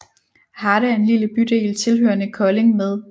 Harte er en lille bydel tilhørende Kolding med